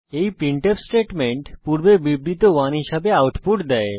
এই printf statement পূর্বে বিবৃত 1 হিসাবে আউটপুট দেয়